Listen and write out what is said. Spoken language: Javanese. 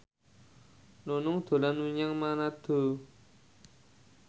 Nunung dolan menyang Manado